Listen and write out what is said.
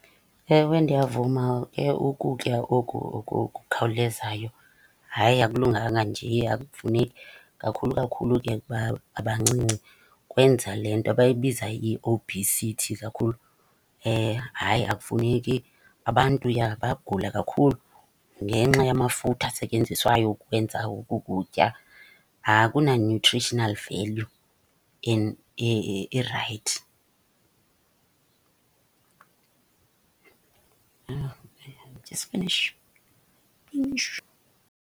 Ewe, ndiyavuma ke ukutya oku okukhawulezayo hayi akulunganga nje, akufuneki. Kakhulu kakhulu ke ukuba abancinci kwenza le nto abayibiza iobhisithi kakhulu. Hayi akufuneki, abantu ja bayagula kakhulu ngenxa yamafutha asetyenziswayo ukukwenza oku kutya. Akuna nutritional value irayithi.